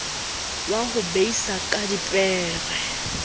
wa ho beisa ka dipere